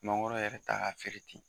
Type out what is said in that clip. Mangoro yɛrɛ ta ka feere ten.